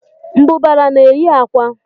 Mbụbara na-eyi akwa